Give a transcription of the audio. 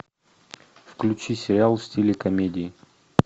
включи сериал в стиле комедии